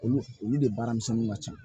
Olu olu de baaramisɛnninw ka ca